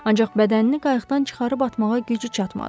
Ancaq bədənini qayıqdan çıxarıb atmağa gücü çatmadı.